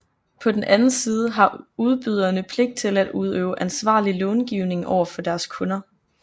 På den anden side har udbyderne pligt til at udøve ansvarlig långivning over for deres kunder